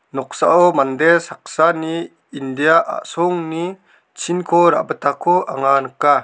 noksao mande saksani India a·songni chinko ra·bitako anga nika.